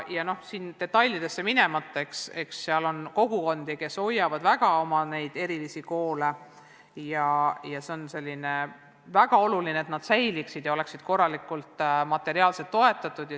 Detailidesse minemata on meil kogukondi, kes väga hoiavad oma erilisi koole, ja on väga oluline, et need säiliksid ja oleksid korralikult materiaalselt toetatud.